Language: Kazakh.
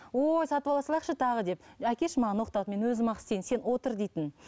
ой сатып ала салайықшы тағы деп әкеші маған оқтауды мен өзім ақ істейін сен отыр дейтін